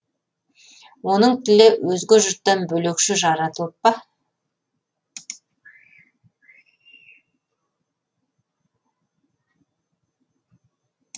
оның тілі өзге жұрттан бөлекше жаратылып па